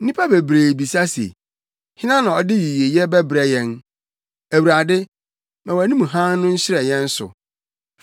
Nnipa bebree bisa se: “Hena na ɔde yiyeyɛ bɛbrɛ yɛn?” Awurade, ma wʼanim hann no nhyerɛn yɛn so.